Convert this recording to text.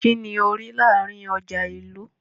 Ki ni o ri láàrin ọja ìlú?